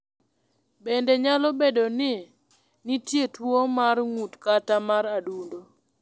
Bende, nyalo bedo ni nitie tuwo mar ng’ut kata mar adundo.